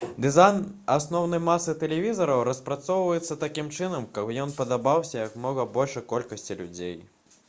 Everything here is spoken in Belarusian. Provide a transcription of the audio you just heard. дызайн асноўнай масы тэлевізараў распрацоўваецца такім чынам каб ён падабаўся як мага большай колькасці людзей